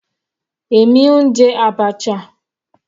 Èmi ń jẹ abacha.